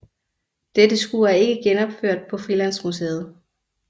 Dette skur er ikke genopført på Frilandsmuseet